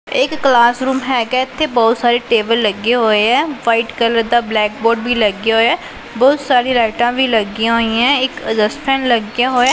ਇਹ ਇੱਕ class room ਹੈਗਾ ਹੈ ਇੱਥੇ ਬਹੁਤ ਸਾਰੇ ਟੇਬਲ ਲੱਗਿਆ ਹੋਇਆ ਵਾਈਟ ਕਲਰ ਦਾ ਬਲੈਕ ਬੋਰਡ ਵੀ ਲੱਗਿਆ ਹੋਇਆ ਬਹੁਤ ਸਾਰੀ ਲਾਈਟਾਂ ਵੀ ਲੱਗੀਆਂ ਹੋਈਆਂ ਇੱਕ ਐਡਜਸਟ ਫੈਨ ਲੱਗਿਆ ਹੋਇਆ